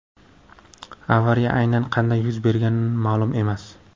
Avariya aynan qanday yuz bergani ma’lum emas.